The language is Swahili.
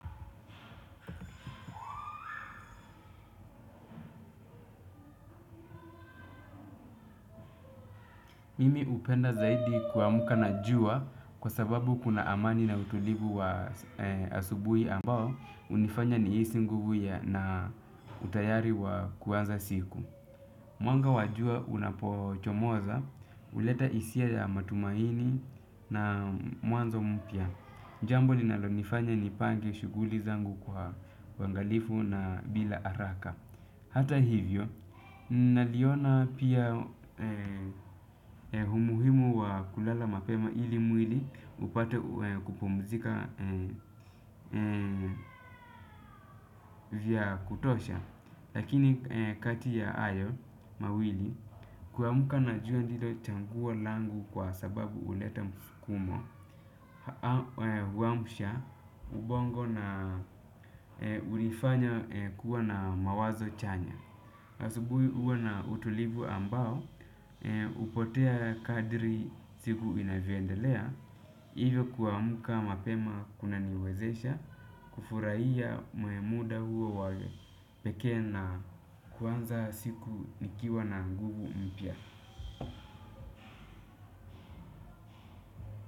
Mimi hupenda zaidi kuamka na jua kwa sababu kuna amani na utulivu wa asubuhi ambao hunifanya nihisi nguvu ya na utayari wa kuanza siku. Mwanga wa jua unapochomoza, huleta hisia ya matumaini na mwanzo mpya. Jambo linalonifanya nipange shughuli zangu kwa uangalifu na bila haraka. Hata hivyo, naliona pia umuhimu wa kulala mapema ili mwili upate kupumzika vya kutosha. Lakini kati ya hayo, mawili, kuamka na jua ndilo chaguo langu kwa sababu huleta mfukumo huamsha, ubongo na hunifanya kuwa na mawazo chanya. Asubuhi huwa na utulivu ambao, hupotea khadri siku inavyoendelea, hivyo kuamka mapema kunaniwezesha, kufurahia muda huo wa pekee na kuanza siku nikiwa na nguvu mpya.